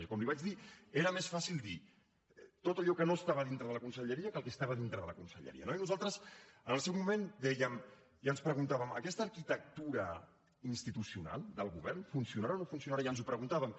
i com li vaig dir era més fàcil dir tot allò que no estava dintre de la conselleria que el que estava dintre de la conselleria no i nosaltres en el seu moment dèiem i ens preguntàvem aquesta arquitectura institucional del govern funcionarà o no funcionarà i ens ho preguntàvem